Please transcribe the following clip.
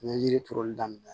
N ye yiri turuli daminɛ